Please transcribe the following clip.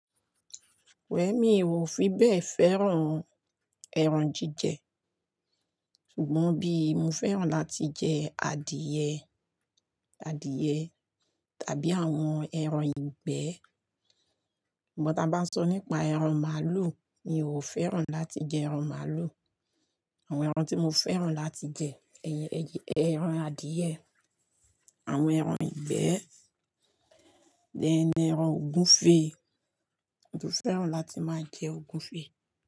Well, mi ò fi bẹ́ẹ̀ fẹ́ràn ẹran jíjẹ. Ṣùgbọ́n bí mo fẹ́ràn láti jẹ adìẹ, adìẹ tàbí àwọn ẹran ìgbẹ́. Ṣùgbọ́n tí a bá sọ nípa ẹran màlúù, mi ò fẹ́ràn láti jẹ ẹran màlúù. Àwọn ẹran tí mo fẹ́ràn láti jẹ ẹran adìẹ, àwọn ẹran ìgbẹ́, then ẹran ògúnfe. Mo fẹ́ràn láti máa jẹ ògúnfe.